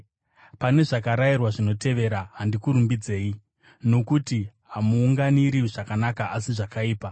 Pane zvakarayirwa zvinotevera handikurumbidzei, nokuti hamuunganiri zvakanaka asi zvakaipa.